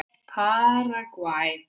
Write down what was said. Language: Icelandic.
Paragvæ